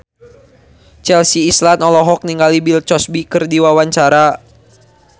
Chelsea Islan olohok ningali Bill Cosby keur diwawancara